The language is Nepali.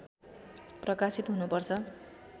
प्रकाशित हुनुपर्छ